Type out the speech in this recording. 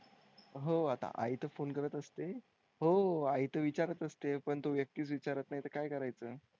हो आता आई तो फोन करत असते हो आई तर विचारत असते पण तो व्यक्ती विचारत नाही तर काय करायचं?